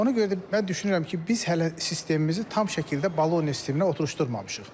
Ona görə də mən düşünürəm ki, biz hələ sistemimizi tam şəkildə Boloniya sisteminə oturuşdurmamışıq.